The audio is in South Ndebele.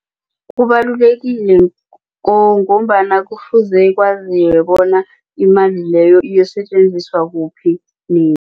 Kubalulekile ngombana kufuze kwaziwe bona imali leyo iinsetjenziswa kuphi